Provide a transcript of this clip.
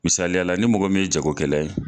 Misaliyala ni mɔgɔ min ye jagokɛla ye